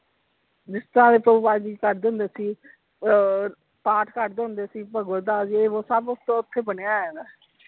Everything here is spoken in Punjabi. ਜਿਸਤਰਾਂ ਕਰਦੇ ਹੁੰਦੇ ਸੀ ਅਹ ਪਾਠ ਕਰਦੇ ਹੁੰਦੇ ਸੀ ਭਗਵਤ ਦਾ ਯੇਹ ਵੋ ਸਭ ਉਸਤੋਂ ਓਥੇ ਬਣਿਆ ਹੋਇਆ ਵਾ।